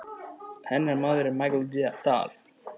Hennar maður er Michael Dal.